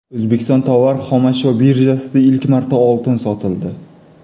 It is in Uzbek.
O‘zbekiston tovar-xomashyo birjasida ilk marta oltin sotildi .